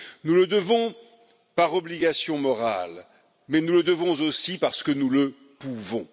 Nous le devons par obligation morale, mais nous le devons aussi parce que nous le pouvons.